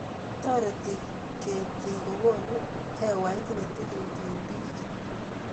Toreti kertii kokonuu hewait ne tilil eng biik.